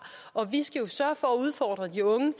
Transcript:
og vi skal jo sørge for at udfordre de unge